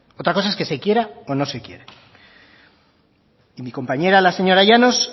otra cosa es que se quiera o no se quiera mi compañera la señora llanos